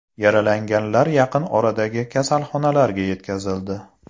Yaralanganlar yaqin oradagi kasalxonalarga yetkazildi.